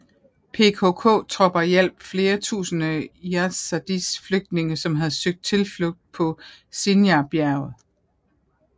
PKK tropper hjalp flere tusinde Yazidis flygtninge som havde søgt tilflugt på Sinjar bjerget